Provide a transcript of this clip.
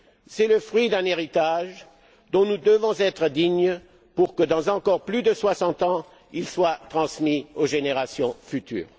C'est le fruit d'un héritage dont nous devons être dignes pour que, dans plus de soixante ans, il soit transmis aux générations futures.